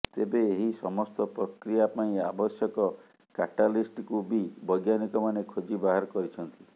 ତେବେ ଏହି ସମସ୍ତ ପ୍ରକ୍ରିୟା ପାଇଁ ଆବଶ୍ୟକ କାଟାଲିଷ୍ଟକୁ ବି ବୈଜ୍ଞାନିକମାନେ ଖୋଜି ବାହାର କରିଛନ୍ତି